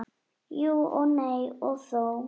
Jú og nei og þó.